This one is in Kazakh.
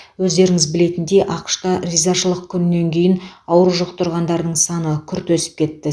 өздеріңіз білетіндей ақш та ризашылық күнінен кейін ауру жұқтырғандардың саны күрт өсіп кетті